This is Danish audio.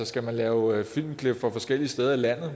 skal lave filmklip fra forskellige steder i landet